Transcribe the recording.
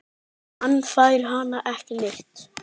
Hann fær hana ekki neitt!